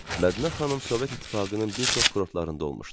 Mədinə xanım Sovet İttifaqının bir çox kurortlarında olmuşdu.